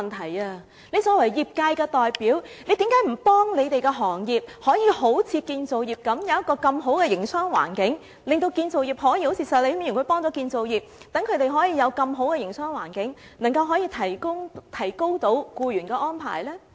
他作為業界代表，為何不幫助他們的行業好像建造業那樣，創造良好的營商環境，可以好像石禮謙議員幫助建造業那樣，讓他們有如此良好的營商環境，然後提高僱員的安排呢？